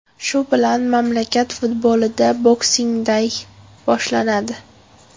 Shu bilan mamlakat futbolida Boxing day boshlanadi.